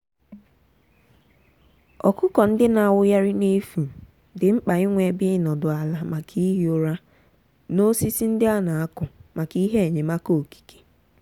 ọkụkọ ndị na-awụgharị n’efu di mkpa inwe ebe ịnọdụ ala maka ihi ụra na osisi ndị a na-akụ maka ihe enyemaka okike.